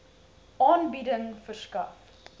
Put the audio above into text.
aanbieding verskaf